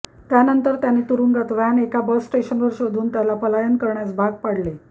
त्यानंतर त्याने तुरुंगात व्हॅन एका बस स्टेशनवर शोधुन त्याला पलायन करण्यास भाग पाडले